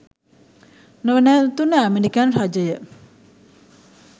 නොනැවතුණු American රජය